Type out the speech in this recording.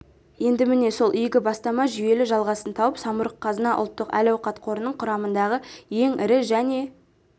енді міне сол игі бастама жүйелі жалғасын тауып самұрық-қазына ұлттық әл-ауқат қорының құрамындағы ең ірі және